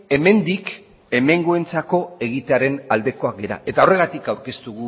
hemendik hemengoentzako egitearen aldekoak gara eta horregatik aurkeztu